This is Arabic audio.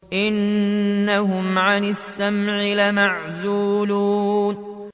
إِنَّهُمْ عَنِ السَّمْعِ لَمَعْزُولُونَ